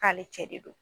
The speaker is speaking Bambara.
K'ale cɛ de don